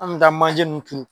An kun be taa manje nunnu turu.